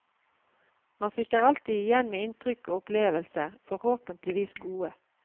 Man sitter alltid igjen med inntrykk og opplevelser, forhåpentligvis gode.